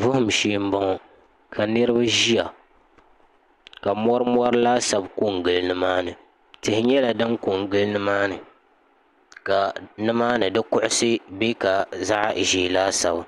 vuhum shee n bɔŋɔ ka niraba ʒiya ka mori mori laasabu kɔ n gili nimaani tihi nyɛla din ko n gili nimaani ka nimaani ka kuɣusi bɛ ka zaɣ ʒiɛ laasabu